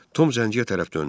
Tom zənciyə tərəf döndü.